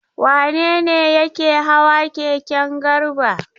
Wane ne yake hawa keken Garba?